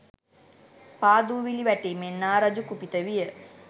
පා දූවිලි වැටීමෙන් නා රජු කුපිත විය.